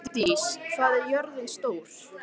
Ingdís, hvað er jörðin stór?